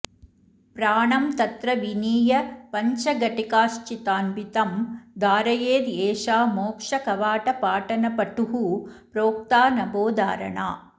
प्राणं तत्र विनीय पञ्चघटिकाश्चित्तान्वितं धारयेद् एषा मोक्षकवाटपाटनपटुः प्रोक्ता नभोधारणा